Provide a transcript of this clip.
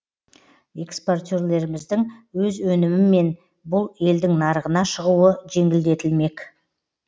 экспортерлеріміздің өз өнімімен бұл елдің нарығына шығуы жеңілдетілмек